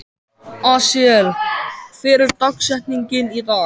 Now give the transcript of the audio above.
Asael, hver er dagsetningin í dag?